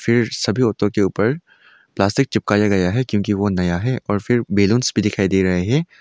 फिर सभी ऑटो के ऊपर प्लास्टिक चिपकाए गया है क्योंकि वो नया है और फिर बलूनस भी दिखाई दे रहे हैं।